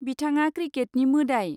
बिथाङा 'क्रिकेटनि मोदाइ'।